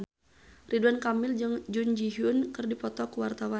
Ridwan Kamil jeung Jun Ji Hyun keur dipoto ku wartawan